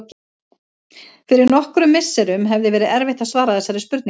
Fyrir nokkrum misserum hefði verið erfitt að svara þessari spurningu.